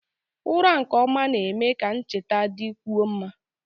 Ụra nke ọma na-eme ka ncheta dịkwuo mma